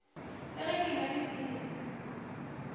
le ge ke enwa dipilisi